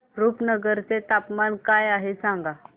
रुपनगर चे तापमान काय आहे सांगा